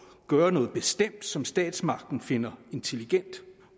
gøre noget bestemt som statsmagten finder intelligent